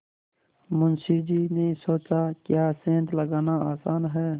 मुंशी जी ने सोचाक्या सेंध लगाना आसान है